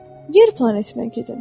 Yer planetinə gedin.